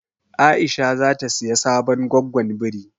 Aisha zata siya sabon goggon biri.